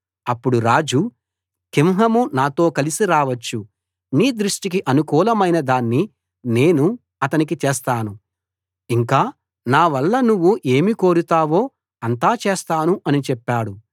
అప్పుడు రాజు కింహాము నాతో కలసి రావచ్చు నీ దృష్టికి అనుకూలమైన దాన్ని నేను అతనికి చేస్తాను ఇంకా నా వల్ల నువ్వు ఏమి కోరుతావో అంతా చేస్తాను అని చెప్పాడు